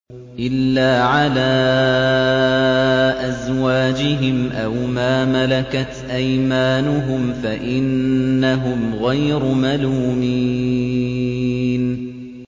إِلَّا عَلَىٰ أَزْوَاجِهِمْ أَوْ مَا مَلَكَتْ أَيْمَانُهُمْ فَإِنَّهُمْ غَيْرُ مَلُومِينَ